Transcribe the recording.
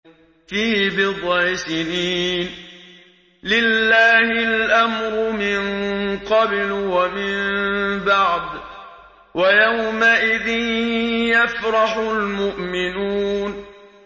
فِي بِضْعِ سِنِينَ ۗ لِلَّهِ الْأَمْرُ مِن قَبْلُ وَمِن بَعْدُ ۚ وَيَوْمَئِذٍ يَفْرَحُ الْمُؤْمِنُونَ